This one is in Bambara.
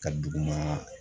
Ka duguma